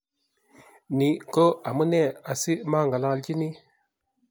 Ni ko amune asimang'alanchini